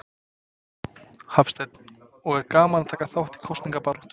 Hafsteinn: Og er gaman að taka þátt í kosningabaráttu?